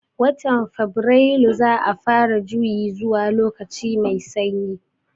Watan fabirailu za'a fara juyi zuwa lokaci mai sanyi